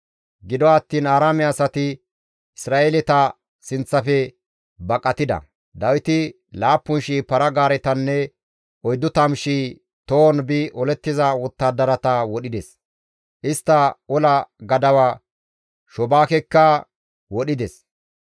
Gido attiin Aaraame asati Isra7eeleta sinththafe baqatida; Dawiti 7,000 para-gaaretanne 40,000 tohon bi olettiza wottadarata wodhides; istta ola gadawa Shobaakekka wodhides.